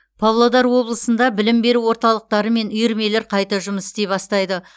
павлодар облысында білім беру орталықтары мен үйірмелер қайта жұмыс істей бастайды